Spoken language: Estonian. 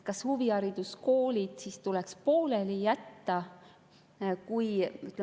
Kas huvihariduskoolid tuleks siis pooleli jätta?